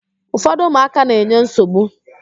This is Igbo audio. Ufọdụ ụmụaka na-enye nsogbu.